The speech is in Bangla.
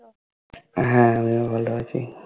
হ্যা আমিও ভালো আছি ।